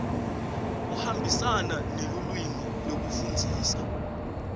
kuhambisana nelulwimi lekufundzisa